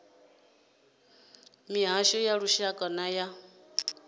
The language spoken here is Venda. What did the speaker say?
mihasho ya lushaka na ya